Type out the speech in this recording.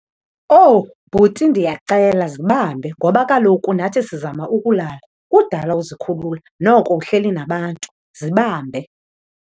Owu! Bhuti ndiyacela, zibambe ngoba kaloku nathi sizama ukulala. Kudala uzikhulula, noko uhleli nabantu, zibambe.